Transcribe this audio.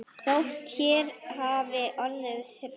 Þótt hér hafi orðið hrun.